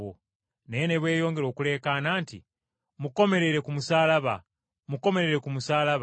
Naye ne beeyongera okuleekaana nti, “Mukomerere ku musaalaba! Mukomerere ku musaalaba!”